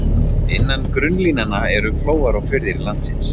Innan grunnlínanna eru flóar og firðir landsins.